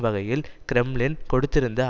வகையில் கிரெம்ளின் கொடுத்திருந்த